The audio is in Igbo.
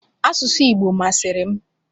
Asụsụ Igbo masịrị m.